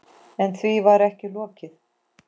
En því var ekki lokið.